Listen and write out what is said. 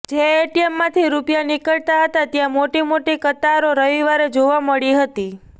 જે એટીએમમાંથી રૂપિયા નીકળતા હતા ત્યાં મોટીમોટી કતારો રવિવારે જોવા મળી હતી